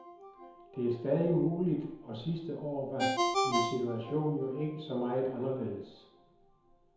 Det er stadig muligt, og sidste år var min situation jo ikke så meget anderledes.